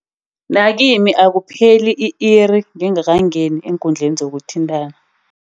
Nakimi akupheli i-iri ngingakangeni eenkundleni zokuthintana.